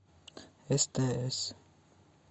стс